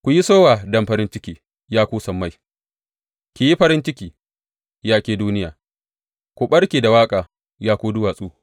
Ku yi sowa don farin ciki, ya ku sammai; ki yi farin ciki, ya ke duniya; ku ɓarke da waƙa, ya ku duwatsu!